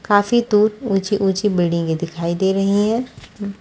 काफी दूर ऊँची-ऊँची बिल्डिंगे दिखाई दे रही है--